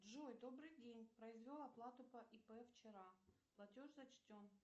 джой добрый день произвел оплату по ип вчера платеж зачтен